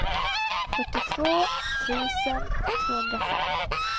fyrtiotvå tusen tvåhundrafem